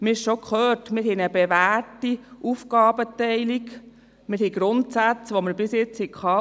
Wie bereits gehört, haben wir eine bewährte Aufgabenteilung und wir haben Grundsätze, die wir bisher schon hatten.